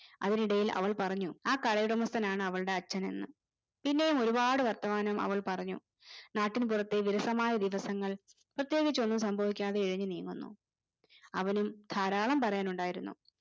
അതിനിടയിൽ അവൾ പറഞ്ഞു ആ കടയുടമസ്ഥനാണ് അവളുടെ അച്ഛൻ എന്ന് പിന്നെയും ഒരുപാട് വർത്തമാനം അവൾ പറഞ്ഞു നാട്ടിൻപുറത്തെ വിരസമായ ദിവസങ്ങൾ പ്രത്യേകിച്ച് ഒന്നും സംഭവിക്കാതെ ഇഴഞ്ഞു നീങ്ങുന്നു. അവനും ധാരാളം പറയാനുണ്ടായിരുന്നു